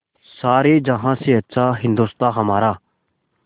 सारे जहाँ से अच्छा हिन्दोसिताँ हमारा